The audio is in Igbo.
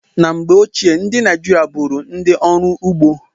Na mgbe ochie, ndị Naịjirịa bụụrụ ndị ọrụ ugbo.